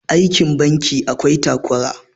aikin banki akwai takura